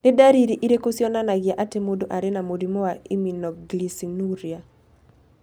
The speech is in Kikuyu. Nĩ ndariri irĩkũ cionanagia atĩ mũndũ arĩ na mũrimũ wa Iminoglycinuria?